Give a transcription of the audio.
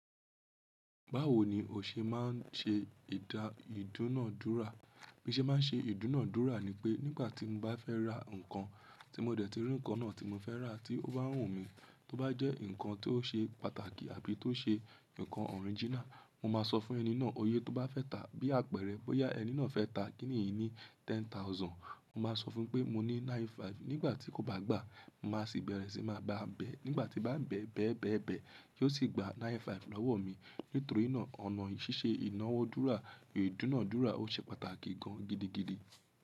Báwo ni o ṣe máa ń ṣe ìdúnàádúrà? Bí ṣe máa ń ṣe ìdúnàádúrà ni pé nígbà tí mo bá fẹ́ ra nǹkan, tí mo dẹ̀ ti rí nǹkan náà tí mo fẹ́ rà tí ó bá wù mí, tó bá jẹ́ ǹnkan tó ṣe pàtàkì àbí tó ṣe ǹnkan orìginal, mo máa sọ fún ẹni náà oye tó bá fẹ́ ta. Bí àpẹ̀erẹ̀ bóyá ẹni náà fẹ́ ta kiní yìí ní ten thousand, mo máa sọ fún pé mo ní nine-five. Nígbà tí kò bá gbà, mo máa sì bẹ̀rẹ̀ sí máa ba bẹ̀. Nígbà tí bá ń bẹ̀, bẹ̀, bẹ̀, bẹ̀ kí ó sì gba nine-five lọ́wọ́ mi. Nítorí náà, ọ̀nà ṣíṣe ìnáwódúrà, ìdúnàádúrà ó ṣe pàtàkì gan-an gidigidi.